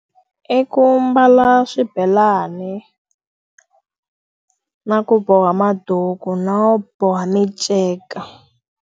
I ku mbala swibelani na ku boha maduku no boha minceka.